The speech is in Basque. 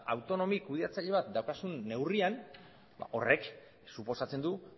autonomi kudeatzaile bat daukazun neurrian horrek suposatzen du